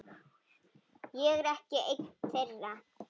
Ég er ekki ein þeirra.